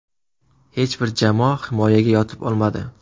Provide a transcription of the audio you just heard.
Hech bir jamoa himoyaga yotib olmadi.